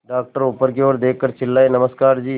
doctor ऊपर की ओर देखकर चिल्लाए नमस्कार जी